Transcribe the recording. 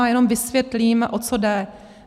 A jenom vysvětlím, o co jde.